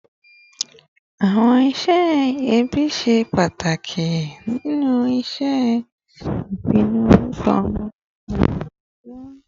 Awọn iṣẹ ẹbi ṣe ipa pataki ninu ṣiṣe ipinnu orukọ ọmọ ni igba atijọ